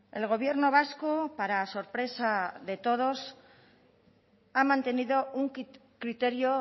el gobierno vasco para sorpresa de todos ha mantenido un criterio